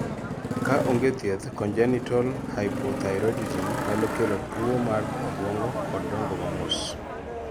kaa oge thieth, congenital hypothyroidism nyalo kelo tuo mar obuongo kod dongo ma mos